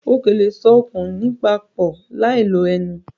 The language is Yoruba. O kò lè so okùn iná pọ̀ láì lo ẹ̀mú